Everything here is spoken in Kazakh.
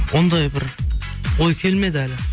ондай бір ой келмеді әлі